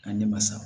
A ne ma sa